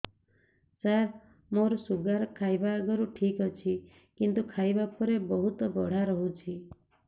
ସାର ମୋର ଶୁଗାର ଖାଇବା ଆଗରୁ ଠିକ ଅଛି କିନ୍ତୁ ଖାଇବା ପରେ ବହୁତ ବଢ଼ା ରହୁଛି